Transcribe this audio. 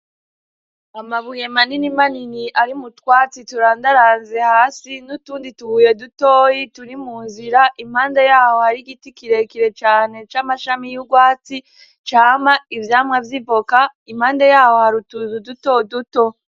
Amabuye manini manini ari mu twatsi turandaranze hasi n'utundi tubuye dutoyi turi mu nzira; Impande yaho hari giti kirekire cane c'amashami y'urwatsi, cama ivyamwa vy'ivoka. Impande yaho hari utuzu uduto duto.